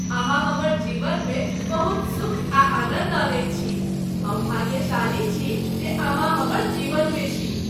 अहाँ हमर जीवनमे बहुत सुख आ आनन्द अनैत छी। हम भाग्यशाली छी जे अहाँ हमर जीवन में छी।